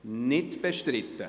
– Es ist nicht bestritten.